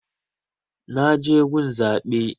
Na je gun zaɓe